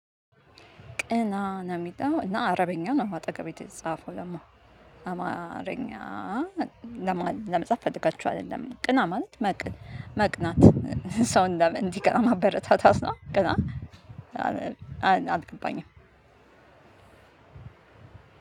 ቅና! ነው የሚለው እና አረበኛ ነው አጠገቡ የተጻፈው ደሞ አማርኛ ለማለ ለመጻፍ ፈለጋችኋል እይደለም ቅና ማለት? መቅ መቅናት ሰው እንዲቀና ማበረታታት ነው ቅና አል አልገባኝም።